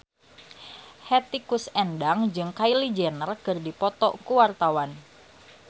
Hetty Koes Endang jeung Kylie Jenner keur dipoto ku wartawan